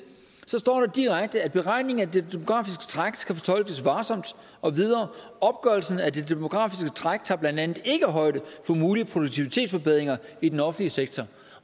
så står der direkte at beregningen af det demografiske træk skal fortolkes varsomt og videre opgørelsen af det demografiske træk tager blandt andet ikke højde for mulige produktivitetsforbedringer i den offentlige sektor